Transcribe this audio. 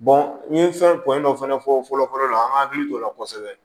n ye fɛn ko in dɔ fana fɔ fɔlɔ fɔlɔ la an ka hakili to o la kosɛbɛ